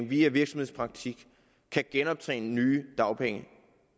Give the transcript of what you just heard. via virksomhedspraktik kan genoptjene nye dagpenge